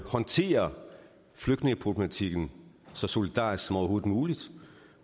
håndterer flygtningeproblematikken så solidarisk som overhovedet muligt